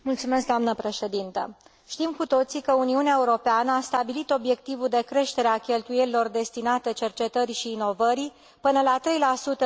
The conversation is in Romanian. Știm cu toții că Uniunea Europeană a stabilit obiectivul de creștere a cheltuielilor destinate cercetării și inovării până la 3 din PIB ul Uniunii până în